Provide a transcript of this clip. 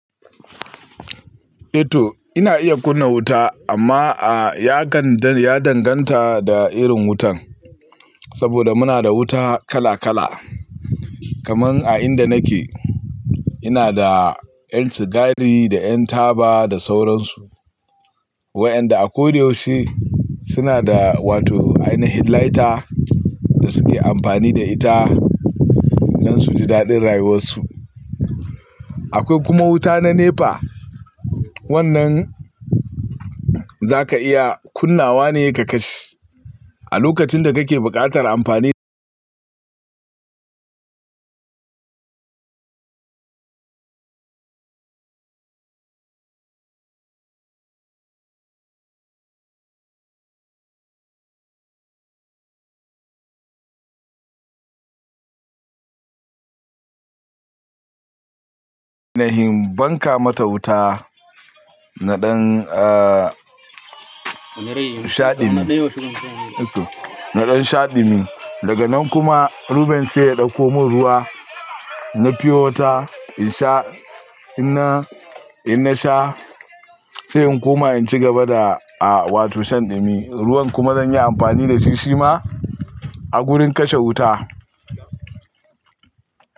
E to ina iya kunna wuta amma a ya gandan, ya danganta da irin wutan, saboda muna da wuta kala kala. Kaman a inda nake ina da ƴan sigari da ƴan taba da sauransu. Waƴanda a ko da yaushe suna da wato ainihin lighter da suke amfani da ita dan su ji daɗin rayuwar su. Akwai kuma wuta na NEPA, wannan zaka iya kunnawa ne ka kashe. A lokacin da kake buƙatar amfani. Da him banka mata wuta naɗin a shaɗi mi, naɗin shaɗi mi daga nan kuma Ruben sai ya ɗauko mun ruwa na fiyo wuta in sha. Ina in na sha sai in koma in ci gaba da a wato shan daɗi mi. Ruwan kuma zan yi amfani da shi si ma a wurin kashe wuta.